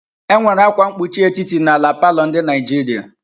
Enwere akwa mkpuchi etiti n'ala palọ ndị Naijiria.